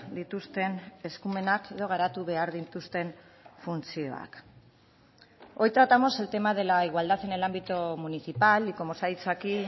dituzten eskumenak edo garatu behar dituzten funtzioak hoy tratamos el tema de la igualdad en el ámbito municipal y como se ha dicho aquí